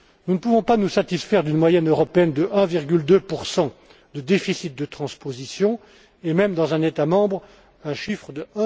Nous ne pouvons pas nous satisfaire d'une moyenne européenne de 1,2 de déficit de transposition, et même, dans un État membre, d'un chiffre